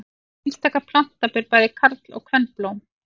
Einstaka planta ber bæði karl- og kvenblóm.